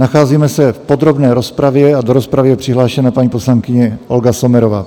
Nacházíme se v podrobné rozpravě a do rozpravy je přihlášena paní poslankyně Olga Sommerová.